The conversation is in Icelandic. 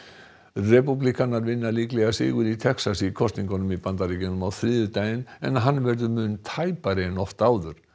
repúblikanar vinna líklega sigur í Texas í kosningum í Bandaríkjunum á þriðjudaginn en hann verður mun tæpari en oft áður